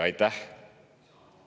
Aitäh!